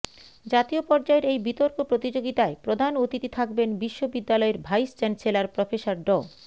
জাতীয় পর্যায়ের এই বিতর্ক প্রতিযোগিতায় প্রধান অতিথি থাকবেন বিশ্ববিদ্যালয়ের ভাইস চ্যান্সেলর প্রফেসর ড